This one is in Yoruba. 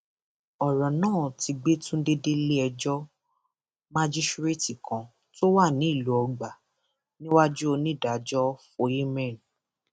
ọrọ náà ti gbé tunde déléẹjọ májíṣẹrẹẹtì kan tó wà nílùú ọgbà níwájú onídàájọ fò amen